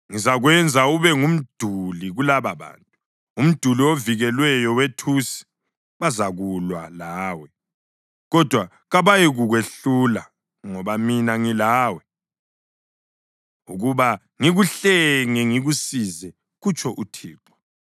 Ngizakwenza ube ngumduli kulababantu, umduli ovikelweyo wethusi; bazakulwa lawe kodwa kabayikukwehlula, ngoba mina ngilawe ukuba ngikuhlenge ngikusize,” kutsho uThixo.